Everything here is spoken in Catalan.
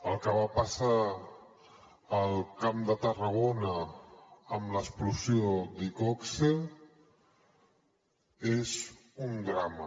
el que va passar al camp de tarragona amb l’explosió d’iqoxe és un drama